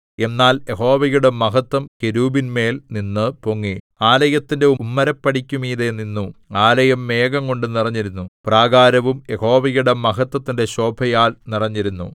എന്നാൽ യഹോവയുടെ മഹത്ത്വം കെരൂബിന്മേൽനിന്നു പൊങ്ങി ആലയത്തിന്റെ ഉമ്മരപ്പടിക്കു മീതെ നിന്നു ആലയം മേഘംകൊണ്ടു നിറഞ്ഞിരുന്നു പ്രാകാരവും യഹോവയുടെ മഹത്വത്തിന്റെ ശോഭയാൽ നിറഞ്ഞിരുന്നു